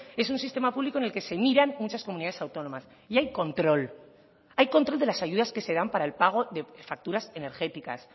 es un sistema público en el que se miran muchas comunidades autónomas y hay control hay control de las ayudas que se dan para el pago de facturas energéticas